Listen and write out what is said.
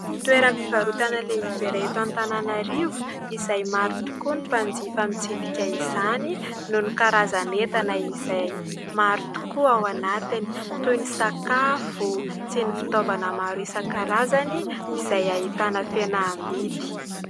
Toeram-pivarotana iray lehibe eto Antananarivo izay maro tokoa ny mpanjifa mitsidika izany noho ny karazan'entana izay maro tokoa ao anatiny toy ny sakafo sy ny fitaovana maro isan-karazany izay ahitana fihenam-bidy.